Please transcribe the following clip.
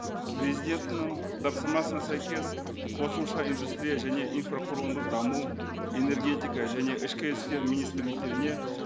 президентінің тапсырмасына сәйкес қосымша индустрия және инфрақұрылымдық даму энергетика және ішкі істер министрліктеріне